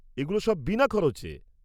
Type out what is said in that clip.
-এগুলো সব বিনা খরচে।